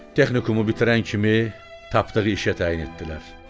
Texnikumu bitirən kimi Tapdığı işə təyin etdilər.